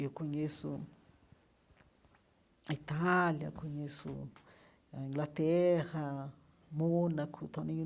Eu conheço a Itália, conheço a Inglaterra, Mônaco também.